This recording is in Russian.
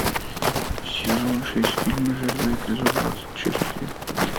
сезон шесть фильм жирная эпизод двадцать шесть